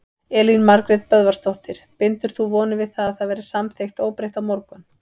Elín Margrét Böðvarsdóttir: Bindur þú vonir við að það verði samþykkt óbreytt á morgun?